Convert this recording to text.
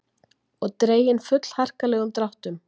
Og dregin fullharkalegum dráttum.